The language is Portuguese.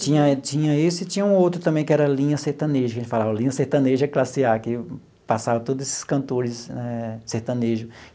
tinha tinha esse e tinha um outro também, que era Linha Sertaneja, que a gente falava, Linha Sertaneja classe A, que passava todos esses cantores eh sertanejo.